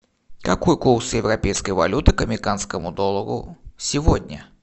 какой курс европейской валюты к американскому доллару сегодня